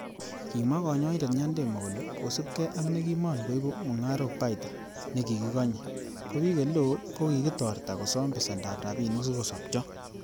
Kimwa konyoindet Nyandemo kole,''kosiibge ak nekimon kooibu mungarok baita nekikikonye, ko bik eleo ko kikitorta kosom besendab rabinik sikosopcho.''